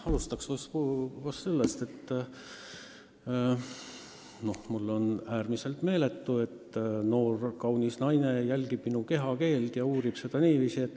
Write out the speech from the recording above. Alustaks sellest, et mul on äärmiselt hea meel, et noor kaunis naine jälgib minu kehakeelt.